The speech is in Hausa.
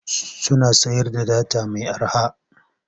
Suna sayar da data mai arha.